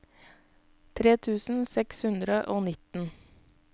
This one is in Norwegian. tre tusen seks hundre og nitten